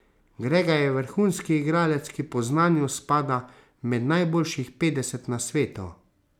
Grega je vrhunski igralec, ki po znanju spada med najboljših petdeset na svetu.